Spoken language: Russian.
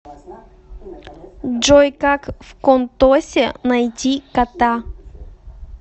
джой как вконтосе найти кота